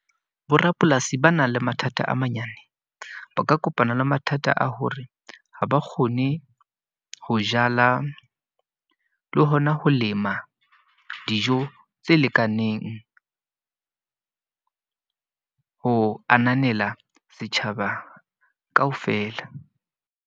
Borapolasi ba nang le mathata a manyane. Ba ka kopana le mathata a hore ha ba kgone ho jala le hona ho lema dijo tse lekaneng. Ho ananela ditjhaba kaofela.